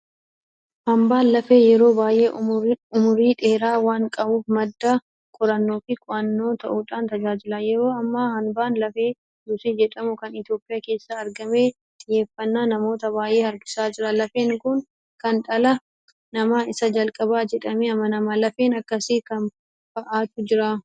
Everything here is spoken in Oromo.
Hanbaan Lafee yeroo baay'ee umurii dheeraa waan qabuuf madda qorannoofi qo'annoo ta'uudhaan tajaajila. Yeroo ammaa hanbaan lafee Luusii jedhamu kan Itoophiyaa keessaa argame xiyyeeffannaa namoota baay'ee harkisaa jira. Lafeen kun kan dhala namaa isa jalqabaa jedhamee amanama. Lafeen akkasii kam fa'aatu jira?